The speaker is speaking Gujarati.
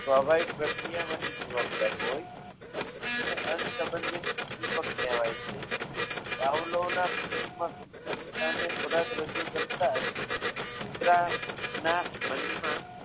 સ્પ્વાભાવિક પ્રક્રિયા માટે જવાબદાર હોય તેને અબંધિત ઉદ્દીપક કહેવાય છે કાવલોના પ્રયોગમાં સજીવની સામે ખોરાક રજૂ કરતા કુતરાના મનમાં સ્વાભાવિક રીતે જ